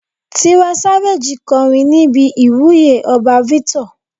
Tiwa Savage kọrin níbi ìwúyè ọba Victor.